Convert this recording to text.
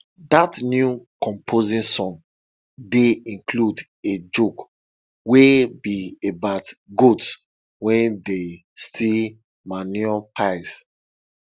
dat new composting song dey include a joke wey be about goats wey dey steal manure piles